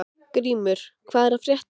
Grímur, hvað er að frétta?